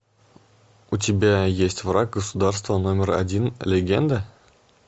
у тебя есть враг государства номер один легенда